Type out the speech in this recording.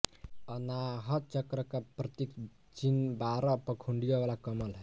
अनाहत चक्र का प्रतीक चिन्ह बारह पंखुडिय़ों वाला कमल है